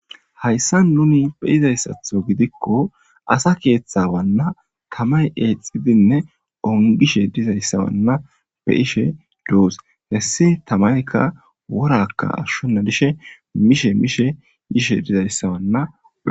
hayssa nuni beyizayssatho gidikko asa keeththawanna tamay eexidinne ongishe dizayssawanna be ishe duus hessi tamayka worakka ashshonna dishe mishe mishe yishe dizayssawanna